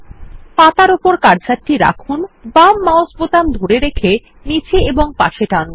পাতার উপর কার্সারটি রাখুন বাম মাউস বোতাম ধরে রেখে নীচে ও পাশে টানুন